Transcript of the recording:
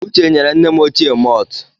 Uche nyere nne m ochie maltụ.